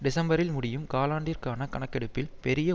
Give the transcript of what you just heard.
டிசம்பரில் முடியும் காலாண்டிற்கான கணக்கெடுப்பில் பெரிய